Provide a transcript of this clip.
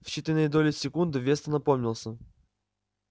в считанные доли секунды вестон опомнился